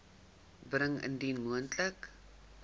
bring indien moontlik